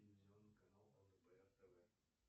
телевизионный канал лдпр тв